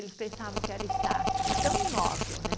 Eles pensavam que era estátua de tão imóvel, né?